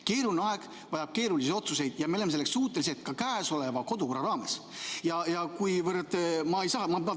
Keeruline aeg vajab keerulisi otsuseid ja me oleme selleks suutelised ka käesoleva kodukorra raames.